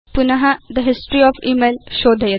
पुन the history of email शोधयतु